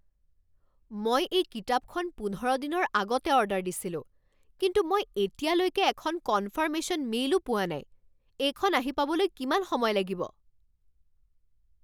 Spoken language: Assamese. মই এই কিতাপখন পোন্ধৰ দিনৰ আগতে অৰ্ডাৰ দিছিলোঁ কিন্তু মই এতিয়ালৈকে এখন কনফাৰ্মেশ্যন মেইলো পোৱা নাই। এইখন আহি পাবলৈ কিমান সময় লাগিব?